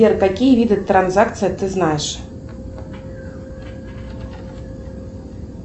сбер какие виды транзакций ты знаешь